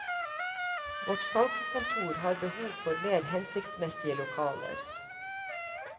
Vårt salgskontor har behov for mer hensiktsmessige lokaler.